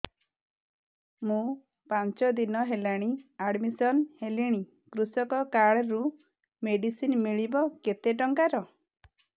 ମୁ ପାଞ୍ଚ ଦିନ ହେଲାଣି ଆଡ୍ମିଶନ ହେଲିଣି କୃଷକ କାର୍ଡ ରୁ ମେଡିସିନ ମିଳିବ କେତେ ଟଙ୍କାର